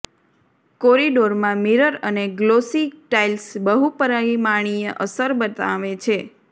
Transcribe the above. કોરિડોરમાં mirror અને glossy tiles બહુપરીમાણીય અસર બનાવે છે